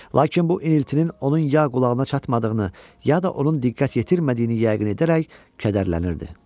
Lakin bu iniltinin onun ya qulağına çatmadığını, ya da onun diqqət yetirmədiyini yəqin edərək kədərlənirdi.